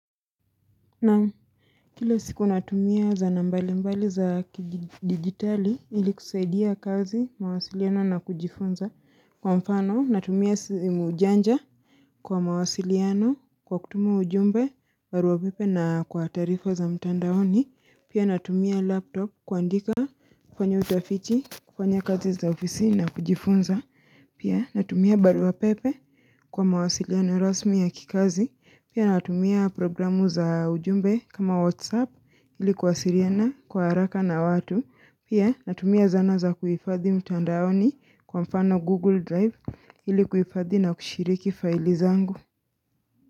Na kila siku natumia zana mbali mbali za kidigitali ili kusaidia kazi, mawasiliano na kujifunza. Kwa mfano natumia simu janja kwa mawasiliano kwa kutuma ujumbe, barua pepe na kwa taarifa za mtandaoni honi. Pia natumia laptop kuandika kufanya utafiti, kufanya kazi azi za ofisini na kujifunza. Pia natumia barua pepe kwa mawasiliano rasmi ya kikazi. Pia natumia programu za ujumbe kama WhatsApp ilikuwasiliana kwa haraka na watu. Pia natumia zana za kuhifadhi mtandaoni kwa mfano Google Drive ilikuifadhi na kushiriki faili zangu.